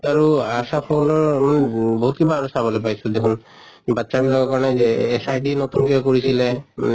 আৰু ASHA উম বহুত কিবা আৰু চাবলৈ পাইছো দেখুন। বাচ্ছা বিলাকৰ কাৰণে যে SIT নতুনকে কৰিছিলে মা